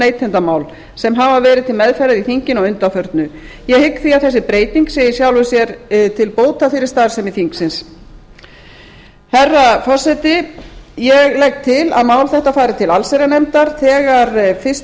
neytendamál sem verið hafa til meðferðar í þinginu að undanförnu ég hygg því að þessi breyting sé í sjálfu sér til bóta fyrir starfsemi þingsins herra forseti ég legg til að mál þetta fari til allsherjarnefndar þegar fyrstu